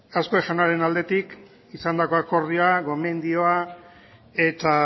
azkue jaunaren aldetik izandako akordioa gomendioa eta